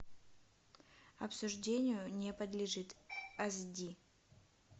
обсуждению не подлежит аш ди